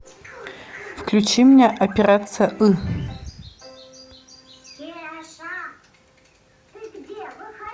включи мне операция ы